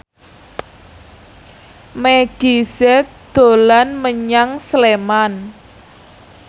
Meggie Z dolan menyang Sleman